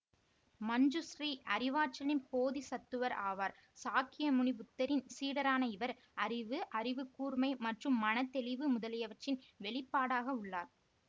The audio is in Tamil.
மஞ்சுஸ்ரீ அறிவாற்றலின் போதிசத்துவர் ஆவார் சாக்கியமுனி புத்தரின் சீடரான இவர் அறிவு அறிவுக்கூர்மை மற்றும் மனத்தெளிவு முதலியவற்றின் வெளிப்பாடாக உள்ளார்